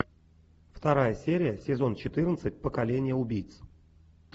вторая серия сезон четырнадцать поколение убийц